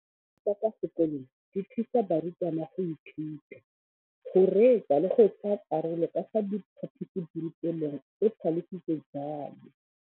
Dijo tsa kwa sekolong dithusa barutwana go ithuta, go reetsa le go tsaya karolo ka fa phaposiborutelong, o tlhalositse jalo.